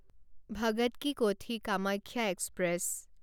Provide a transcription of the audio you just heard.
Bhagat ki Kothi Kamakhya express